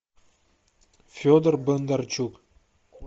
федор бондарчук